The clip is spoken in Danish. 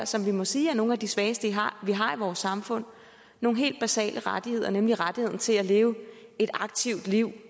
som vi må sige er nogle af de svageste vi har i vores samfund en helt basal rettighed nemlig rettigheden til at leve et aktivt liv